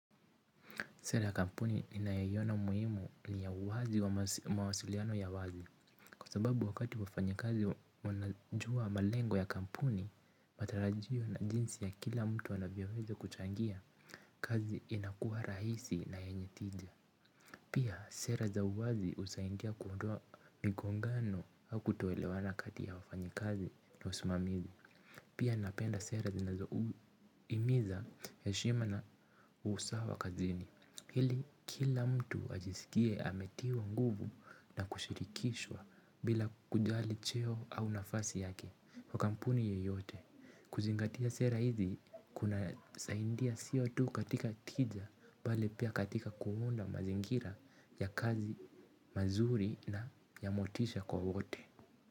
Sera ya kampuni ninyaiona muhimu ni ya uwazi wa mawasiliano ya wazi. Kwa sababu wakati wafanyakazi wanajua malengo ya kampuni. Matarajio na jinsi ya kila mtu wanavyoweza kuchangia kazi inakua rahisi na yenye tija. Pia sera za wazi usaindia kuondoa migongano hau kutoelewana kati ya wafanya kazi na usimamizi. Pia napenda sera zinazo imiza heshima na usawa kazini. Hili kila mtu ajisikie ametiwa nguvu na kushirikishwa bila kujali cheo au nafasi yake kwa kampuni yeyote. Kuzingatia sera kunasaidia sio tu katika tija bali pia katika kuunda mazingira ya ya kazi mazuri na ya motisha kwa wote.